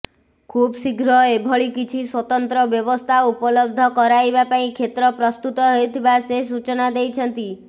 ଖୁବ୍ଶୀଘ୍ର ଏଭଳି କିଛି ସ୍ବତନ୍ତ୍ର ବ୍ୟବସ୍ଥା ଉପଲବ୍ଧ କରାଇବା ପାଇଁ କ୍ଷେତ୍ର ପ୍ରସ୍ତୁତ ହେଉଥିବା ସେ ସୂଚନା ଦେଇଛନ୍ତି